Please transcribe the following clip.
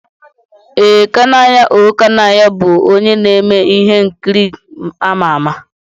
Ee, Kanayo O Kanayo bụ onye na-eme ihe nkiri ama ama.